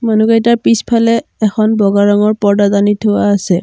মানুহকেইটাৰ পিছফালে এখন বগা ৰঙৰ পৰ্দা টানি থোৱা আছে।